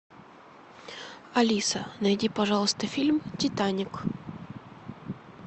алиса найди пожалуйста фильм титаник